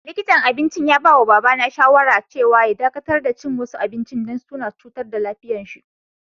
Likintan abincin ya ba ma baba na shawara cewa ya dakatar da cin wasu abinci dan suna cutarwa lafiyan si.